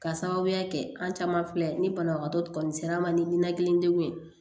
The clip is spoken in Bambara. Ka sababuya kɛ an caman filɛ ni banabagatɔ kɔni sera an ma ni ninakili degun ye